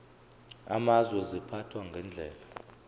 amazwe ziphathwa ngendlela